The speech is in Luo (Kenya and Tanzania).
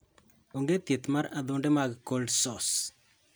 Onge thieth mar adhonde mag cold sores.